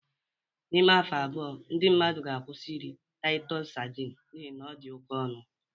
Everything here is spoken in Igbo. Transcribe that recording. N'ime afọ abụọ ndị mmadụ ga-akwụsị iri Titus sardine n'ihi na ọ dị oke ọnụ